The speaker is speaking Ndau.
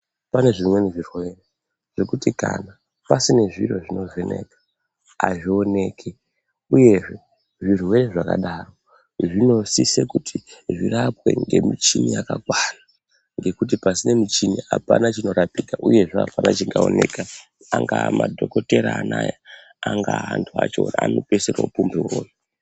Pane zvimweni zvirwere zvekuti kana pasina zviro zvinovheneka azvioneki. Uyezve zvirwere zvakadaro zvinosise kuti zvirapwe ngemichini yakakwana. Ngekuti pasina muchini apana chinorapika, uyezve apana chingaoneka, angaa madhokotera anaa angaa antu acho anopedzisire oopumhe uroyi.